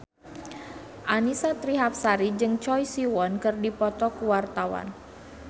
Annisa Trihapsari jeung Choi Siwon keur dipoto ku wartawan